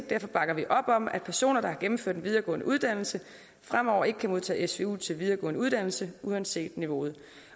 derfor bakker vi op om at personer der har gennemført en videregående uddannelse fremover ikke kan modtage svu til videregående uddannelse uanset niveauet